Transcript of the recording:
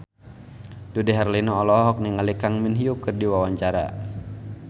Dude Herlino olohok ningali Kang Min Hyuk keur diwawancara